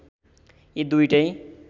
यी दुईटै